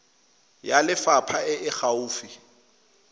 ya lefapha e e gaufi